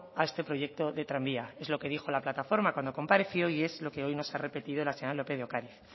a este proyecto de tranvía es lo que dijo la plataforma cuando compareció y es lo que hoy nos ha repetido la señora lópez de ocariz